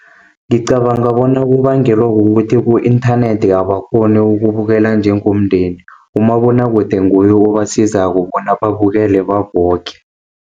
Ngicabanga bona kubangelwa kukuthi ku-inthanethi abakghoni ukubukela njengomndeni. Umabonwakude nguye obasizako bona babukele baboke.